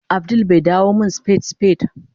Abdul bai dawo min spad spade